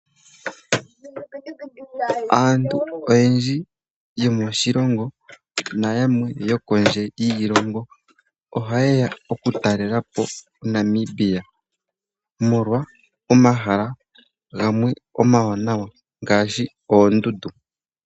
Aantu oyendji yomoshilongo nayamwe yokondje yiilongo ohaye ya okutalelapo Namibia omolwa omahala omawanawa ngaashi oondundu.